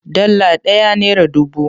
Dala ɗaya nera dubu.